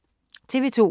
TV 2